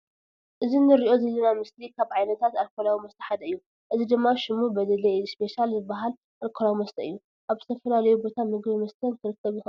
እዚ እንርእዮ ዘለና ምስሊ ካብ ዓይነታት ኣልኮላዊ መስተ ሓደ እዩ። እዚ ድማ ሽሙ በዴሌ እስፔሻል ዝባሃል ኣልኮላዊ መስተ እዩ። ኣብ ዝተፈላለዩ ቤት ምግብን መስተን ክርከብ ዝክእል መስተ እዩ።